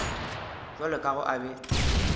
bjalo ka ge a be